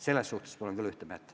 Selles osas oleme küll ühte meelt.